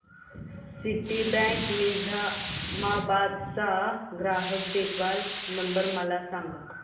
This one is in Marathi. सिटीबँक निझामाबाद चा ग्राहक देखभाल नंबर मला सांगा